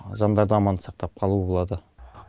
жаңдарды аман сақтап қалу болады